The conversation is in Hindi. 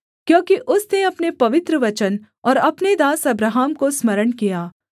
क्योंकि उसने अपने पवित्र वचन और अपने दास अब्राहम को स्मरण किया